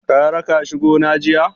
Ka raka shi gona jiya?